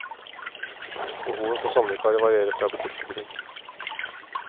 Behovet for sommervikarer varierer fra butikk til butikk.